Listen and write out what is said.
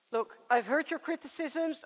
Look, I've heard your criticisms.